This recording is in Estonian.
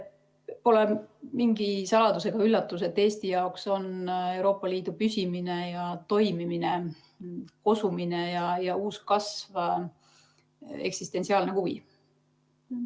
Pole mingi saladus ega üllatus, et Eesti jaoks on Euroopa Liidu püsimine ja toimimine, kosumine ja uus kasv eksistentsiaalne huvi.